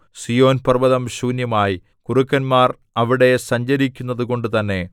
സീയോൻപർവ്വതം ശൂന്യമായി കുറുക്കന്മാർ അവിടെ സഞ്ചരിക്കുന്നതുകൊണ്ട് തന്നെ